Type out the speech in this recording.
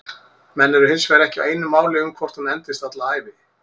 Menn eru hinsvegar ekki á einu máli um hvort hún endist alla ævi.